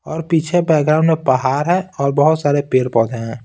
और पीछे बैकग्राउंड में पहाड़ है और बहुत सारे पेड़-पौधे हैं।